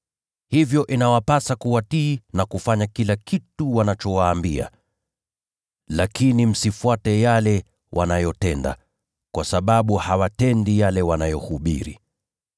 hivyo inawapasa kuwatii na kufanya kila kitu wanachowaambia. Lakini msifuate yale wanayotenda, kwa sababu hawatendi yale wanayohubiri.